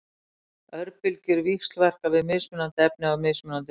Örbylgjur víxlverka við mismunandi efni á mismunandi hátt.